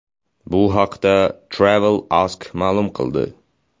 Bu haqda Travel Ask ma’lum qildi.